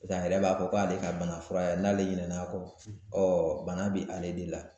G'a yɛrɛ b'a fɔ k'ale ka bana fura ye n'ale ɲinan'a kɔ bana bɛ ale de la.